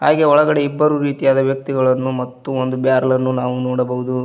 ಹಾಗೆ ಒಳಗಡೆ ಇಬ್ಬರು ರೀತಿಯಾದ ವ್ಯಕ್ತಿಗಳನ್ನು ಮತ್ತು ಒಂದು ಬ್ಯಾರೆಲ ನ್ನು ನೋಡಬಹುದು.